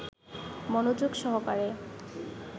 মনযোগ সহকারে